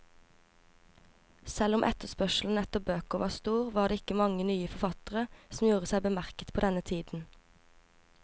Selv om etterspørselen etter bøker var stor, var det ikke mange nye forfattere som gjorde seg bemerket på denne tiden.